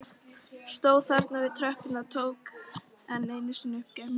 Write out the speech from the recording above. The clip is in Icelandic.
Stóð þarna við tröppurnar, tók enn einu sinni upp gemsann.